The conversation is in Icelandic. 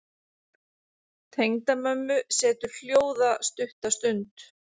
Tengdamömmu setur hljóða stutta stund.